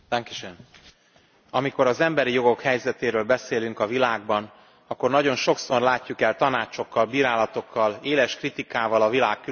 Amikor az emberi jogok helyzetéről beszélünk a világban, akkor nagyon sokszor látjuk el tanácsokkal, bírálatokkal, éles kritikával a világ különböző országait.